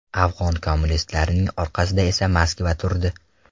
Afg‘on kommunistlarining orqasida esa Moskva turdi.